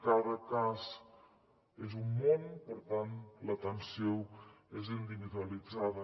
cada cas és un món per tant l’atenció és individualitzada